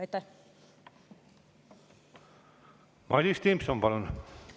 Madis Timpson, palun!